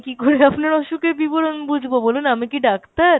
আমি কি করে আপনার অসুখের বিবরণ বুজবো আমি কি ডাক্তার ?